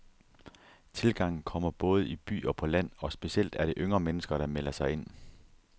Tilgangen kommer både i by og på land, og specielt er det yngre mennesker, der melder sig ind.